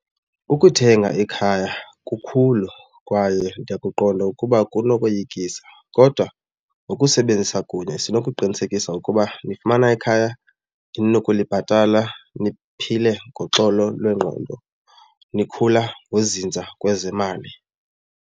Ukuthenga ikhaya kukhulu kwaye ndiyakuqonda ukuba kunokoyikisa kodwa ngokusebenzisa kunye sinokuqinisekisa ukuba nifumana ikhaya eninokulibhatala niphile ngoxolo lwengqondo nikhula ngozinza kwezemali.